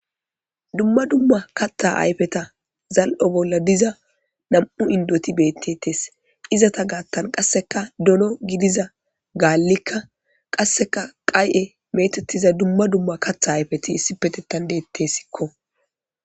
Dumma dumam kaththa ayfeta zal'o bolla diiza nam'u inddot bettetes iizeta gattan qasseka dooono giddiza galika qasseka qay'e mettetiza dumma dumma kaththa ayfeti issoppetetan dettesikko.